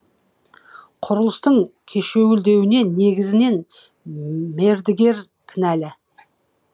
құрылыстың кешеуілдеуіне негізінен мердігер кінәлі